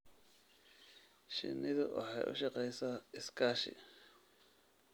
Shinnidu waxay u shaqeysaa iskaashi.